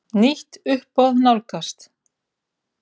Nýtt uppboð nálgast.